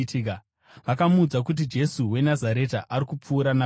Vakamuudza kuti, “Jesu weNazareta ari kupfuura napano.”